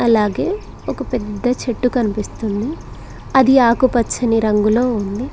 అలాగే ఒక పెద్ద చెట్టు కనిపిస్తుంది అది ఆకుపచ్చని రంగులో ఉంది.